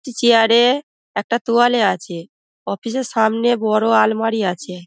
Chair -এ একটা তোয়ালে আছে। অফিস -এর সামনে বড় আলমারি আছে।